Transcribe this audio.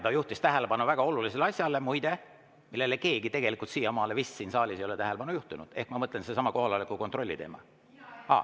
Ta juhtis tähelepanu väga olulisele asjale, muide, millele keegi teine tegelikult siiamaani vist siin saalis ei ole tähelepanu juhtinud, ma mõtlen sedasama kohaloleku kontrolli teemat.